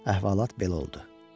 Əhvalat belə oldu.